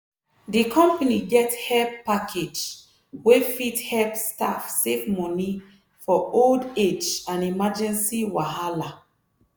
di company get help package wey fit help staff save money for old age and emergency wahala.